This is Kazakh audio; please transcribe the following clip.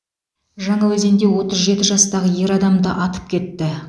жаңаөзенде отыз жеті жастағы ер адамды атып кетті